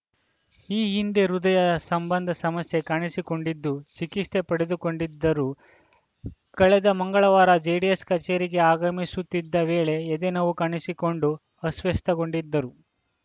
ಈ ಹಿಂದೆ ಹೃದಯ ಸಂಬಂಧ ಸಮಸ್ಯೆ ಕಾಣಿಸಿಕೊಂಡಿದ್ದು ಚಿಕಿತ್ಸೆ ಪಡೆದುಕೊಂಡಿದ್ದರು ಕಳೆದ ಮಂಗಳವಾರ ಜೆಡಿಎಸ್‌ ಕಚೇರಿಗೆ ಆಗಮಿಸುತ್ತಿದ್ದ ವೇಳೆ ಎದೆ ನೋವು ಕಾಣಿಸಿಕೊಂಡು ಅಸ್ವಸ್ಥೆ ಗೊಂಡಿದ್ದರು